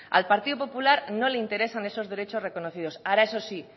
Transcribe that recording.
al partido popular no le interesan esos derechos reconocidos ahora eso sí